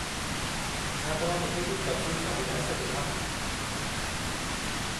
छा तव्हां मूंखे कुझु तफ़सील सां ॿुधाए सघो था?